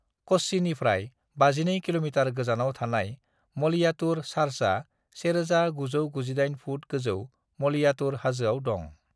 "कच्चिनिफ्राय 52 kilometre गोजानाव थानाय मलयातुर चार्चआ 1,998 फुट गोजौ मलयातुर हाजोआव दं।"